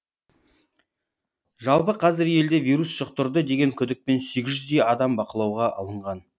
жалпы қазір елде вирус жұқтырды деген күдікпен сегіз жүздей адам бақылауға алынған